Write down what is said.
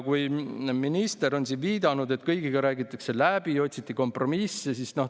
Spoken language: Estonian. Minister on viidanud, et kõigiga räägitakse läbi, otsiti kompromissi.